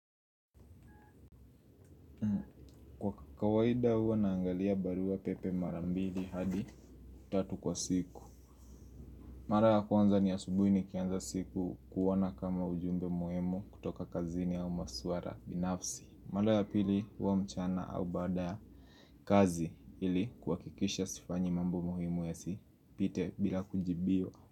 Kwa kawaida huwa naangalia barua pepe mara mbili hadi tatu kwa siku. Mara ya kwanza ni asubuhi nikianza siku kuona kama ujumbe muimu kutoka kazini au maswara binafsi. Mara ya pili huwa mchana au baada ya kazi ili kuakikisha sifanyi mambo muhimu yasipite bila kujibiwa.